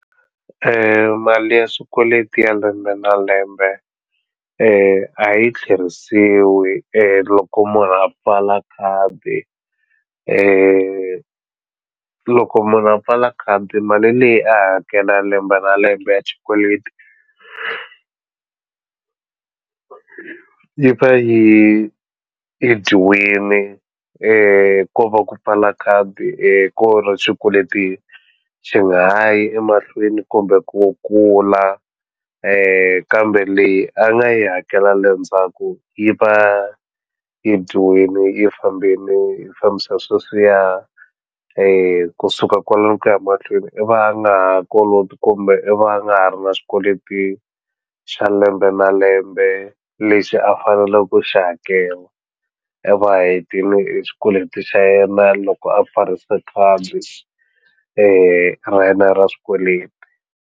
Mali ya swikweleti ya lembe na lembe a yi tlherisiwi loko munhu a pfala khadi loko munhu a pfala khadi mali leyi a hakela lembe na lembe ya xikweleti yi va yi yi dyiwini ko va ku pfala khadi hi ku ri xikweletini xi nga ha yi emahlweni kumbe ku kula kambe leyi a nga yi hakela le ndzhaku yi va yi dyiwile yi fambile yi fambisa sweswiya kusuka kwalano ku ya mahlweni i va nga ha koloti kumbe i va nga ha ri na swikweleti xa lembe na lembe lexi a fanele ku xi hakela i va hetini e xikweleti xa yena loko a pfarisa khadi ra yena ra swikweleti.